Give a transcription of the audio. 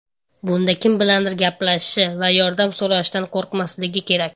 Bunda kim bilandir gaplashishi va yordam so‘rashdan qo‘rqmasligi kerak.